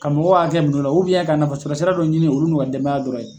Ka mɔgɔw ka hakɛ minɛ u la ka nafa sɔrɔ sira dɔ ɲini olu n'u ka denbaya dɔrɔn ye.